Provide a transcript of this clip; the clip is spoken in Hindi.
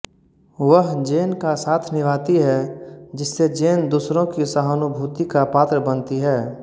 वह जेन का साथ निभाती है जिससे जेन दूसरों की सहानुभूति का पात्र बनती है